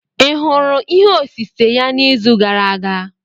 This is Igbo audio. Ị hụrụ ihe osise ya n'izu gara aga?